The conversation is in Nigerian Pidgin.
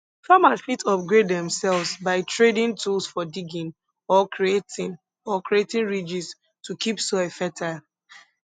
farmers fit upgrade demselves by tradin tools for diggin or creatin or creatin ridges to keep soil fertile